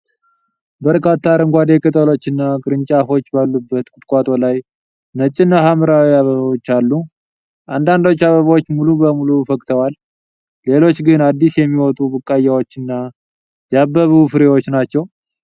በርካታ አረንጓዴ ቅጠሎችና ቅርንጫፎች ባሉበት ቁጥቋጦ ላይ ነጭና ሐምራዊ አበባዎች አሉ። አንዳንዶቹ አበቦች ሙሉ በሙሉ ፈክተዋል፤ ሌሎች ግን አዲስ የሚወጡ ቡቃያዎችና ያበቡ ፍሬዎች ናቸው።